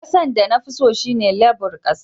Kasan da na fi son shine lebur kasa.